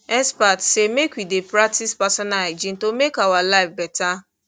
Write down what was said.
experts say make we dey practice personal hygiene to make our life better